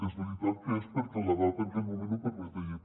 és veritat que és perquè l’edat en aquell moment ho permetia